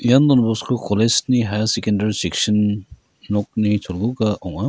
ian Don Bosco college-ni hiar sekendari seksin nokni cholguga ong·a.